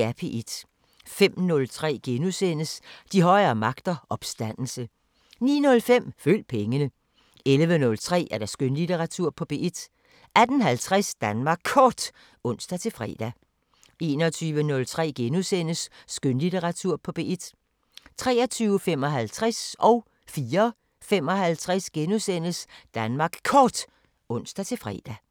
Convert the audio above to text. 05:03: De højere magter: Opstandelse * 09:05: Følg pengene 11:03: Skønlitteratur på P1 18:50: Danmark Kort (ons-fre) 21:03: Skønlitteratur på P1 * 23:55: Danmark Kort *(ons-fre) 04:55: Danmark Kort *(ons-fre)